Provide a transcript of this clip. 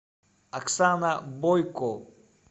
оксана бойко